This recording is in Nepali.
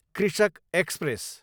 कृषक एक्सप्रेस